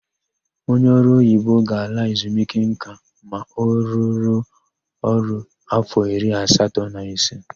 Onye ọrụoyibo ga-ala ezumike nka ma ọ rụruo ọrụ áfọ iri atọ na ise.